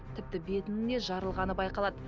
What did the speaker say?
тіпті бетінің де жарылғаны байқалады